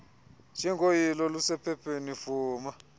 njengoyilo olusephepheni vuma